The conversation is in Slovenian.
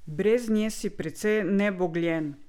Brez nje si precej nebogljen!